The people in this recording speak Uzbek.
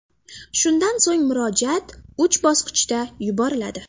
Shundan so‘ng murojaat uch bosqichda yuboriladi.